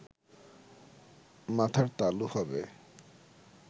মাথার তালু হবে